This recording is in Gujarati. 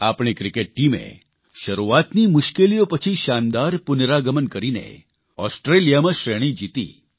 આપણી ક્રીકેટ ટીમે શરૂઆતની મુશ્કેલીઓ પછી શાનદાર પુનરાગમન કરીને ઓસ્ટ્રેલિયામાં શ્રેણી જીતી